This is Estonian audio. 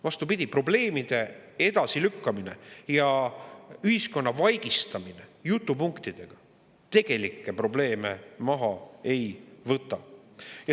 Vastupidi, probleemide edasilükkamine ja ühiskonna vaigistamine jutupunktidega tegelikke probleeme maha ei võta.